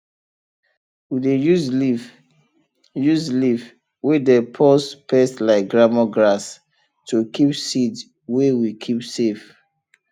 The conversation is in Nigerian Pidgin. we dey use leaf use leaf wey dey purse pest like lemon grass to keep seed wey we keep safe